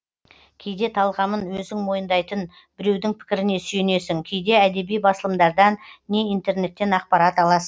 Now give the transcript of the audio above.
кейде талғамын өзің мойындайтын біреудің пікіріне сүйенесің кейде әдеби басылымдардан не интернеттен ақпарат аласың